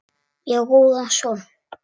Ég á góðan son.